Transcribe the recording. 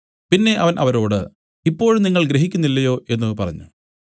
പിന്നെ അവൻ അവരോട് ഇപ്പോഴും നിങ്ങൾ ഗ്രഹിക്കുന്നില്ലയോ എന്നു പറഞ്ഞു